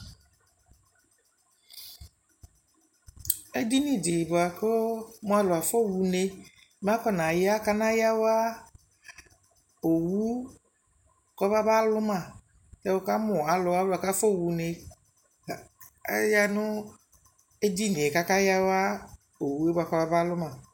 ɛdini di bʋakʋ mʋ alʋ aƒɔ ha ʋnɛ mɛ akɔna ya kana yawa ɔwʋ kɔbaba lʋma, wʋkamʋ alʋ kʋ aƒɔ wʋnɛ, ayanʋ ɛdinidi kʋ aka yawa ɔwʋɛ bʋakʋ ɔbaba lʋma